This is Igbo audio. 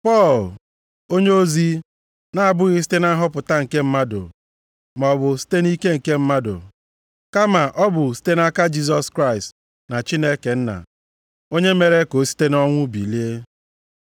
Pọl, onyeozi, na-abụghị site na nhọpụta nke mmadụ maọbụ site nʼike nke mmadụ, kama ọ bụ site nʼaka Jisọs Kraịst na Chineke Nna, onye mere ka ọ site nʼọnwụ bilie.